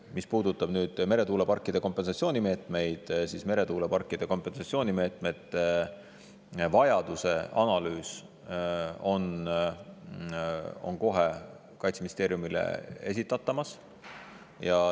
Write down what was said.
Mis puudutab meretuuleparkide kompensatsioonimeetmeid, siis meretuuleparkide kompensatsioonimeetmete vajaduse analüüs Kaitseministeeriumile varsti esitatakse.